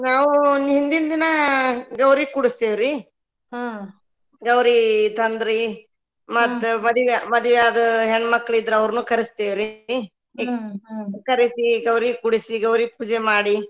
ನಾವು ಹಿಂದಿಂದಿನ ಗೌರಿ ಕುಡಸ್ತೇವ ರೀ ಗೌರಿ ತಂದ್ ರೀ ಮತ್ತ ಮದ್ವಿ ಮದ್ವಿ ಆದ ಹೆಣ್ಣ ಮಕ್ಳ ಇದ್ರ ಅವರ್ನು ಕರಸ್ತೆವ್ರಿ ಕರಿಸಿ ಗೌರಿ ಕೂರಿಸಿ ಗೌರಿ ಪೂಜೆ ಮಾಡಿ.